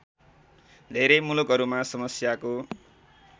धेरै मुलुकहरूमा समस्याको